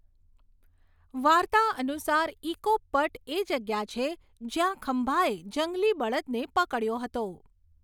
વાર્તા અનુસાર ઇકોપ પટ એ જગ્યા છે જ્યાં ખંબાએ જંગલી બળદને પકડ્યો હતો.